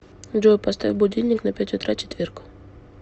джой поставь будильник на пять утра четверг